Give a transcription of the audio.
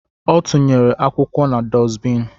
Ọ tụnyere akwụkwọ na dusbin